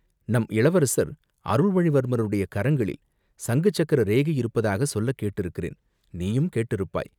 நம் இளவரசர் அருள்மொழிவர்மருடைய கரங்களில் சங்கு சக்கர ரேகை இருப்பதாகச் சொல்லக் கேட்டிருக்கிறேன், நீயும் கேட்டிருப்பாய்.